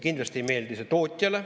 Kindlasti ei meeldi see tootjale.